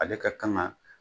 Ale ka kan ga